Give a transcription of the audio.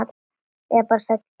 Eða bara Sæll Tobbi?